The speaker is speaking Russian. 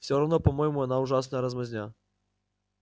все равно по-моему он ужасная размазня